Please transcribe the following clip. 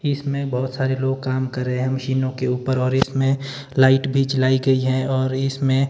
इसमें बहोत सारे लोग काम कर रहे मशीनों के ऊपर और इसमें लाइट भी जलाई गई है और इसमें--